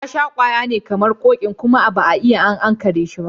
Ya sha ƙwaya ne kamar kokin kuma ba'a iya an kare shi ba.